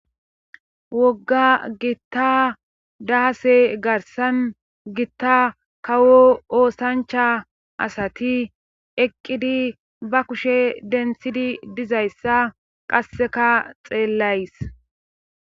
Wogga gitta daase garsan gitta kawo oosancha asati eqqidi ba kushe denthidi dizayssa qasseka xeellays.